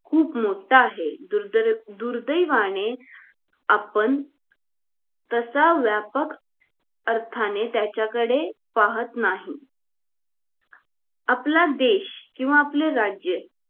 खुप मोठा आहेत दुर्दय दुर्दवाने आपण तास व्यापक अर्थाने त्याच्याकडे पाहत नाही आपला देश किंवा आपलं राज्य